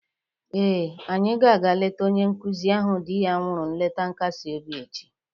Ee, anyị ga-aga leeta onye nkụzi ahụ di ya nwụrụ nleta nkasi obi echi